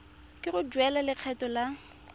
ke go duela lekgetho la